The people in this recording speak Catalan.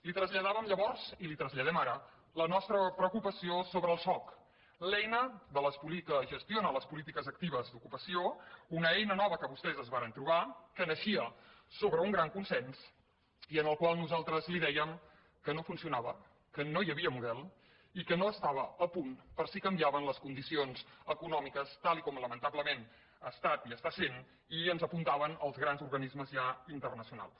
li traslladàvem llavors i li traslladem ara la nostra preocupació sobre el soc l’eina que gestiona les polítiques actives d’ocupació una eina nova que vostès es varen trobar que naixia sobre un gran consens i en el qual nosaltres li dèiem que no funcionava que no hi havia model i que no estava a punt per si canviaven les condicions econòmiques tal com lamentablement ha estat i està sent i ens apuntaven els grans organismes ja internacionals